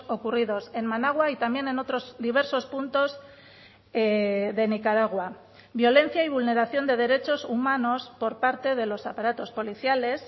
ocurridos en managua y también en otros diversos puntos de nicaragua violencia y vulneración de derechos humanos por parte de los aparatos policiales